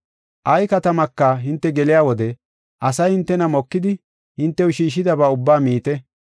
Ay katamaka hinte geliya wode asay hintena mokidi, hintew shiishidaba ubbaa miite.